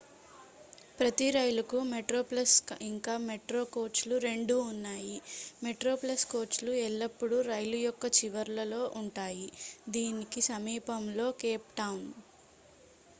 ప్రతి రైలుకు మెట్రోప్లస్ ఇంకా మెట్రో కోచ్ లు రెండూ ఉన్నాయి మెట్రోప్లస్ కోచ్ లు ఎల్లప్పుడూ రైలు యొక్క చివరల్లో ఉంటాయి దీనికి సమీపంలో కేప్ టౌన్